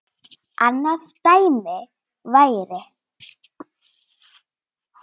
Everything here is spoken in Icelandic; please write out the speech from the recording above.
annað dæmi væri